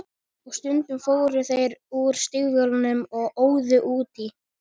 Og stundum fóru þeir úr stígvélunum og óðu út í.